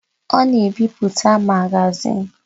Ọ na-ebipụta magazin.